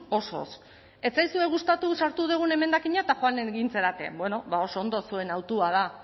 osoz ez zaizue gustatu sartu dugun emendakina eta joan egin zarete bueno ba oso ondo zuen hautua da